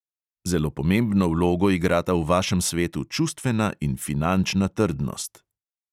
Zelo pomembno vlogo igrata v vašem svetu čustvena in finančna trdnost.